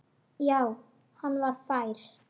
Já, hann var fær!